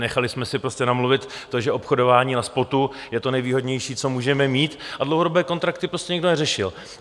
Nechali jsme si prostě namluvit to, že obchodování na spotu je to nejvýhodnější, co můžeme mít, a dlouhodobé kontrakty prostě nikdo neřešil.